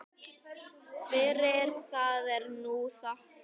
Fyrir það er nú þakkað.